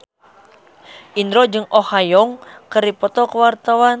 Indro jeung Oh Ha Young keur dipoto ku wartawan